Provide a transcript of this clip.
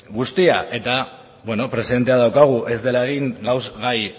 guztia presente daukagu ez dela egin gaur gai